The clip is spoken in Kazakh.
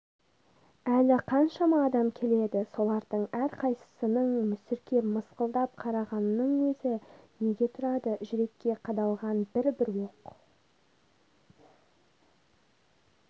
әлі қаншама адам келеді солардың әрқайсысының мүсіркеп мысқылдап қарағанының өзі неге тұрады жүрекке қадалған бір-бір оқ